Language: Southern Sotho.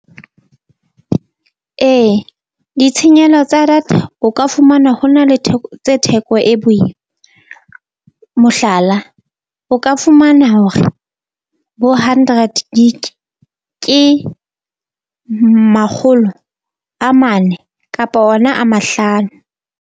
Ee ditshenyehelo tsa data, o ka fumanwa ho na le theko tse theko e boima. Mohlala, o ka fumana hore bo hundred gig ke makgolo a mane kapa ona a mahlano.